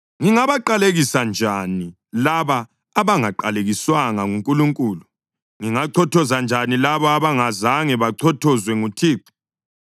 Ngingabaqalekisa njani labo abangaqalekiswanga nguNkulunkulu? Ngingachothoza njani labo abangazange bachothozwe nguThixo?